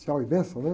Tchau e benção, né?